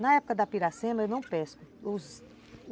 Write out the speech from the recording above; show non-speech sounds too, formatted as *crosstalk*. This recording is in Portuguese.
Na época da Piracema, eu não pesco *unintelligible*